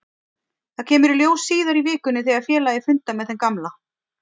Það kemur í ljós síðar í vikunni þegar félagið fundar með þeim gamla.